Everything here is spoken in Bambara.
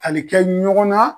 Ani kɛ ɲɔgɔn na